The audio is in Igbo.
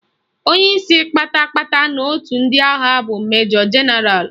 Onyeisi kpata kpata n'otu ndị agha bụ Majọ Jenaralụ